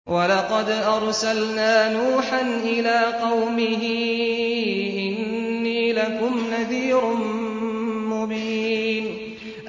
وَلَقَدْ أَرْسَلْنَا نُوحًا إِلَىٰ قَوْمِهِ إِنِّي لَكُمْ نَذِيرٌ مُّبِينٌ